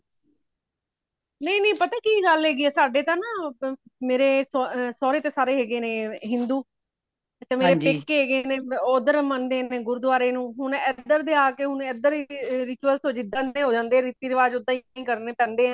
ਨਹੀਂ ਨਹੀਂ ਪਤਾ ਕੀ ਗੱਲ ਹੈਗੀ ਹੈ ਨਾ ਸਾਡੇ ਤੇ ਨਾ ਮੇਰੇ ਸੋਹਰੇ ਤਾ ਸਾਰੇ ਹੈਗੇ ਨੇ ਹਿੰਦੂ ਮੇਰੇ ਪੇਕੇ ਹੈਗੇ ਨੇ ਓਦਰ ਮੰਦੇ ਹੈਗੇ ਨੇ ਗੁਰਦੁਆਰੇ ਨੂੰ ਹੁਣ ਏਧਰ ਤੇ ਆ ਕੇ ਏਧਰ ਦੇ ritual ਜਿੰਦਾ ਦੇ ਹੋ ਜਾਂਦੇ ਰਿਤੀ ਰਿਵਾਜ਼ ਓਦਾਂ ਹੀ ਕਰਨੇ ਪੇਂਦੇ ਹੈ